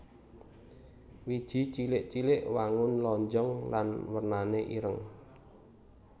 Wiji cilik cilik wangun lonjong lan wernané ireng